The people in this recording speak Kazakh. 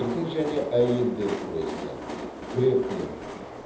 еркін және әйелдер күресі грэпплинг